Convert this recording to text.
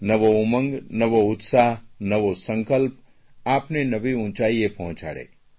નવો ઉમંગ નવો ઉત્સાહ નવો સંકલ્પ આપને નવી ઉંચાઇએ પહોંચાડે